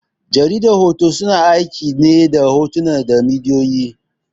Jaridar hoto, suna aiki ne hotuna da bidiyoyi.